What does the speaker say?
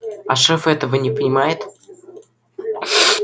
а шеф этого не понимает